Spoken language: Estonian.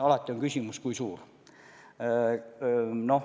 Alati on küsimus, kui suur.